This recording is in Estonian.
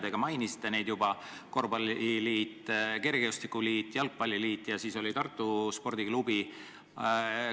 Teiegi mainisite neid juba: korvpalliliit, kergejõustikuliit, jalgpalliliit ja Tartu spordiklubi.